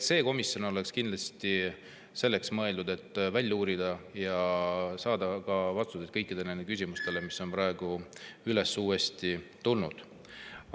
See komisjon olekski selleks mõeldud, et välja uurida vastused kõikidele küsimustele, mis on uuesti üles tulnud.